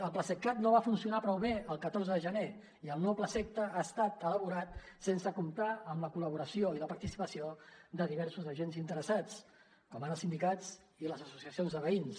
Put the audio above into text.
el plaseqcat no va funcionar prou bé el catorze de gener i el nou plaseqta ha estat elaborat sense comptar amb la col·laboració i la participació de diversos agents interessats com ara sindicats i les associacions de veïns